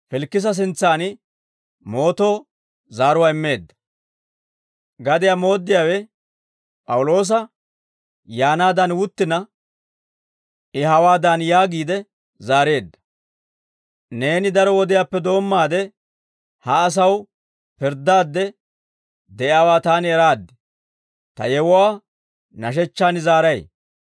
Gadiyaa mooddiyaawe P'awuloosa yaanaadan wuttina, I hawaadan yaagiide zaareedda; «Neeni daro wodiyaappe doommaade, ha asaw pirddaadde de'iyaawaa taani eraade, ta yewuwaa nashechchaan zaaray.